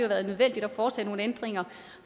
været nødvendigt at foretage nogle ændringer